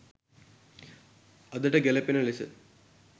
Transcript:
අදට ගැලපෙන ලෙස